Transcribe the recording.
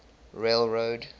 railroad